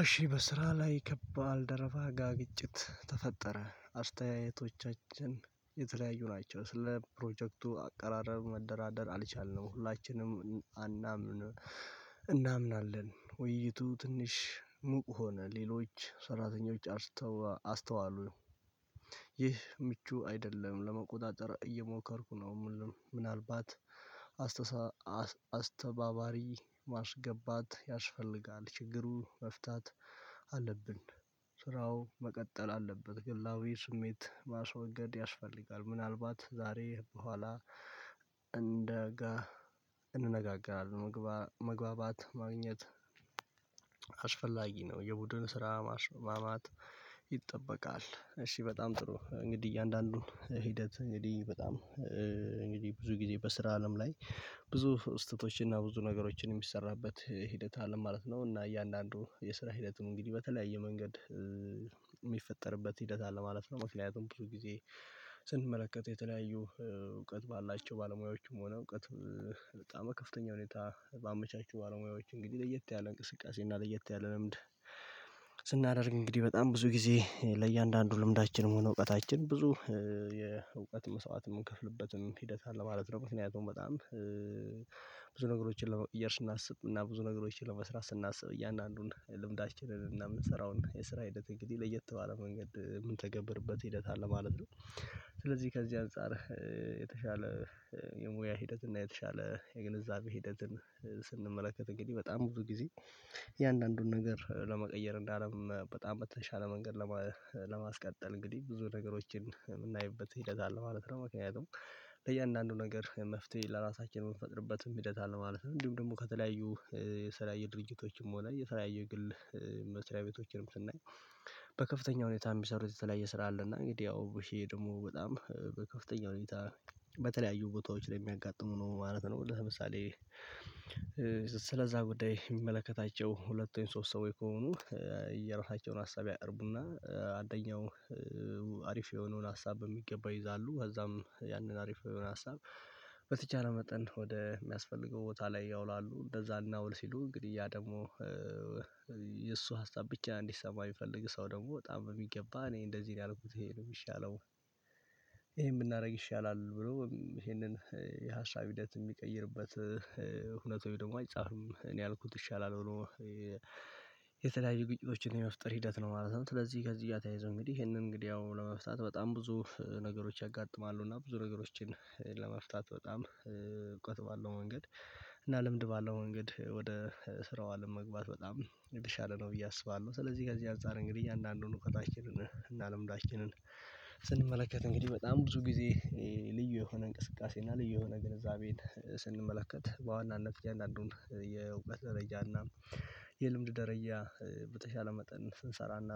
እሺ በስራ ላይ ከባል ደረባ ጋ ግጭት ተፈጠረ አስተያየቶቻችን የተለያዩ ናቸው። ስለ ፕሮጀክቱ አቀራረብ መደራደር አልቻልነው ሁላችንም አናምንም እናምናለን ውይይቱ ትንሽ ሙቅ ሆነ ሌሎች ሰራተኞች አስተው አስተዋሉ። ይህ ምቹ አይደለም ለመቆጣጠር እየሞከርኩ ነው። ምንአልባት አስተባባሪ ማስገባት ያስፈልጋል ችግሩ መፍታት አለብን። ስራው መቀጠል አለበት ግላዊ ስሜት ማስወገድ ያስፈልጋል። ምናልባት ዛሬ በኋላ እንደ እንነጋገራለን። መግባባት ማግኘት አስፈላጊ ነው። የቡድን ስራ ማስማት ይጠበቃል። እሺ በጣም ጥሩ እንግዲህ እያንዳንዱን ሂደት እንግዲህ በጣም እንግዲህ ብዙ ጊዜ በስራ አለም ላይ። ብዙ ስህተቶችን እና ብዙ ነገሮችን የሚሰራበት ሂደት አለም ማለት ነው እና እያንዳንዱ የስራ ሂደቱን እንግዲህ በተለያየ መንገድ የሚፈጠርበት ሂደት አለ ማለት ነው። መኪናውን ብዙ ጊዜ ስንመለከተው የተለያዩ እውቀት ባላቸው ባለሙያዎቹም ሆነ እውቀት በጣም ከፍተኛ ሁኔታ ባመቻቹ ባለሙያዎች እንግዲህ ለየት ያለ እንቅስቃሴ እና ለየት ያለ ልምድ። ስናደርግ እንግዲህ በጣም ብዙ ጊዜ ለእያንዳንዱ ልምዳችን ሆነ እውቀታችን ብዙ የእውቀት መስዋዕት የምንከፍልበትን ሂደት አለ ማለት ነው። ምክንያቱም በጣም ብዙ ነገሮችን ለመውደር ስናስብ እና ብዙ ነገሮችን ለመስራት ስናስብ እያንዳንዱን ልምዳችንን እና የምንሰራውን የስራ ሂደት እንግዲህ ለየት ባለ መንገድ የምንተገብርበት ሂደት አለ ማለት ነው። ስለዚህ ከዚህ አንፃር የተሻለ የሙያ ሂደት እና የተሻለ የግንዛቤ ሂደትን እንግዲህ በጣም ብዙ ጊዜ እያንዳንዱን ነገር ለመቀየር እንዳለም በጣም በተሻለ መንገድ ለማስቀጠል እንግዲህ ብዙ ነገሮችን የምናይበት ሂደት አለ ማለት ነው። ምክንያቱም ለእያንዳንዱ ነገር መፍትሄ ለራሳችን የምንፈጥርበትም ሂደት አለ ማለት ነው። እንዲሁም ደግሞ ከተለያዩ የሰላይ ድርጅቶችም ሆነ የሰላይ ግል መስሪያ ቤቶችንም ስናይ። በከፍተኛ ሁኔታ የሚሰሩት የተለያየ ስራ አለ እና እንግዲህ ያው ይሄ ደግሞ በጣም በከፍተኛ ሁኔታ በተለያዩ ቦታዎች ላይ የሚያጋጥሙ ነው ማለት ነው። ለምሳሌ ስለዛ ጉዳይ የሚመለከታቸው ሁለቱን ሶስት ሰዎች ከሆኑ የራሳቸውን ሀሳብ ያቅርቡና አንደኛው አሪፍ የሆነውን ሀሳብ በሚገባ ይይዛሉ ከዛም ያንን አሪፍ የሆነ ሀሳብ በተቻለ መጠን ወደ የሚያስፈልገው ቦታ ላይ ያውላሉ እንደዛና ውል ሲሉ እንግዲህ ያ ደግሞ። የእሱ ሀሳብ ብቻ እንዲሰማ የሚፈልግ ሰው ደግሞ በጣም በሚገባ እኔ እንደዚህ ነው ያልኩት ይሄ ነው የሚሻለው። ይሄን ብናደርግ ይሻላል ብሎ ይሄንን የሀሳብ ሂደት የሚቀይርበት እውነት ወይ ደግሞ አይጻፍም እኔ አልኩት ይሻላል ሆኖ። የተለያዩ ግጭቶችን የመፍጠር ሂደት ነው ማለት ነው። ስለዚህ ከዚህ እያተያይዘው እንግዲህ ይሄንን እንግዲህ ያው ለመፍታት በጣም ብዙ ነገሮች ያጋጥማሉ እና ብዙ ነገሮችን ለመፍታት በጣም እውቀት ባለው ወንገድ እና ልምድ ባለው ወንገድ ወደ ስራው አለም መግባት በጣም የሚሻለ ነው ብዬ አስባለሁ። ስለዚህ ከዚህ አንፃር እንግዲህ አንዳንድ ሆኖ ከታችንን እናለም ዳችንን ስንመለከት እንግዲህ በጣም ብዙ ጊዜ ልዩ የሆነ እንቅስቃሴ እና ልዩ የሆነ ግንዛቤን ስንመለከት በዋናነት እያንዳንዱን የውበት ደረጃና የልምድ ደረጃ በተሻለ መጠን ስንሰራና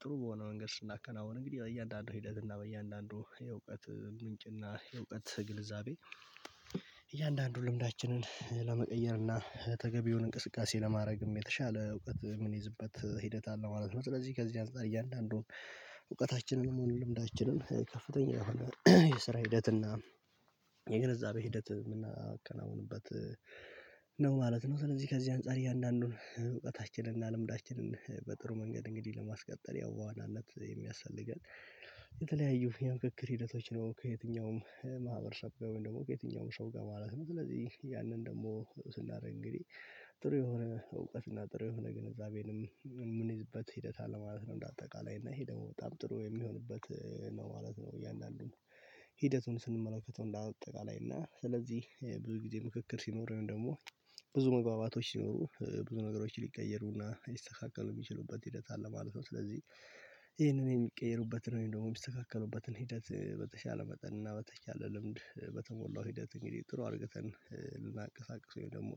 ጥሩ በሆነ መንገድ ስናከናውን እንግዲህ በእያንዳንዱ ሂደት እና በእያንዳንዱ የእውቀት ምንጭ እና የእውቀት ግንዛቤ እያንዳንዱ ልምዳችንን ለመቀየር እና ተገቢውን እንቅስቃሴ ለማድረግም የተሻለ እውቀት የምንይዝበት ሂደት አለ ማለት ነው። ስለዚህ ከዚህ አንፃር እያንዳንዱን እውቀታችንንም ልምዳችንን ከፍተኛ የሰራ ሂደትና የግንዛቤ ሂደት የምናከናውንበት ነው ማለት ነው። ስለዚህ ከዚህ አንፃር እያንዳንዱን እውቀታችንን እና ልምዳችንን በጥሩ መንገድ እንግዲህ ለማስቀጠል ያው ዋናነት የሚያስተልገን የተለያዩ የምክክር ሂደቶች ነው። ከየትኛውም ማህበረሰብ ጋር ወይም ደግሞ ከየትኛውም ሰው ጋር ማለት ነው። ስለዚህ ያንን ደግሞ ስናደርግ እንግዲህ ጥሩ የሆነ እውቀት እና ጥሩ የሆነ ግንዛቤንም ምን ይዝበት ሂደት አለ ማለት ነው። እንደ አጠቃላይ እና ይሄ ደግሞ በጣም ጥሩ የሚሆንበት ነው ማለት ነው። እያንዳንዱን ሂደቱን ስንመለከተው እንዳጠቃላይ እና ስለዚህ ብዙ ጊዜ ምክክር ሲኖረኝ ደግሞ ብዙ መግባባቶች ሲኖሩ ብዙ ነገሮች ሊቀየሩና ይስተካከሉ የሚችሉበት ሂደት አለ ማለት ነው። ስለዚህ ይሄንን የሚቀየሩበት ነው ደግሞ የሚስተካከለውበትን ሂደት በተሻለ መጠን እና በተቻለ ልምድ በተሞላው ሂደት እንግዲህ ጥሩ አድርገተን ልናቀሳቅሰው ወይም ደግሞ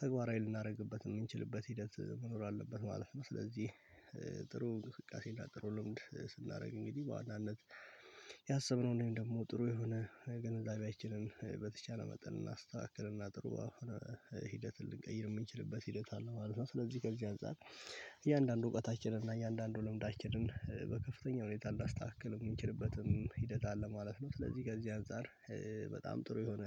ተግባራዊ ልናደርግበት የምንችልበት ሂደት መኖር አለበት ማለፍ ነው። ስለዚህ ጥሩ እንቅስቃሴ እንዳጥሩ ልምድ ስናደርግ እንግዲህ በዋናነት ያሰብነው እኔም ደግሞ ጥሩ የሆነ ገንዘብ አይችልም በተቻለ መጠን እናስተካክል እና ጥሩ ሆኖ ሂደትን ልንቀይር የምንችልበት ሂደት አለ ማለት ነው። ስለዚህ ከዚህ አንፃር እያንዳንዱ እውቀታችንን እና እያንዳንዱ ልምዳችንን በከፍተኛ ሁኔታ እንዳስተካክል የምንችልበትም ሂደት አለ ማለት ነው። ስለዚህ ጋር እዚህ አንፃር በጣም ጥሩ የሆነ